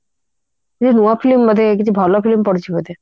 କିଛି ଭଲ film ପଡିଛି ବୋଧେ